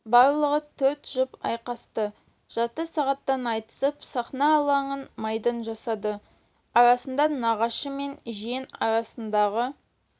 барлығы төрт жұп әрқайсысы жарты сағаттан айтысып сахна алаңын майдан жасады арасында нағашы мен жиен арасындағы